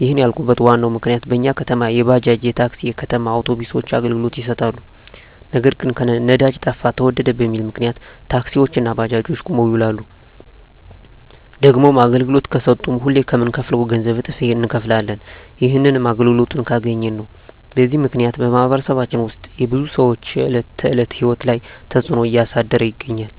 ይህንን ያልኩበት ዋናው ምክንያት በኛ ከተማ የባጃጅ፣ የታክሲ፣ የከተማ አውቶቢሶች አገልግሎት ይሠጣሉ። ነገር ግን ነዳጅ ጠፋ ተወደደ በሚል ምክንያት ታክሲዎች እና ባጃጆች ቁመው ይውላሉ። ደግሞም አገልግሎት ከሠጡም ሁሌ ከምንከፍለው ገንዘብ እጥፍ እነከፍላለን። ይህንንም አገልግሎቱን ካገኘን ነው። በዚህ ምክንያት በማኅበረሰባችን ውስጥ የብዙ ሰዎች የዕለት ተዕለት ሕይወት ላይ ትጽእኖ እያሳደረ ይገኛል።